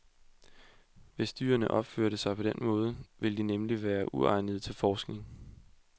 Hvis dyrene opførte sig på den måde, ville de nemlig være uegnede til forskning.